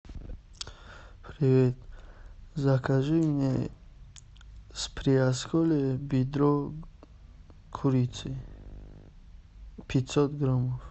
привет закажи мне с приосколья бедро курицы пятьсот граммов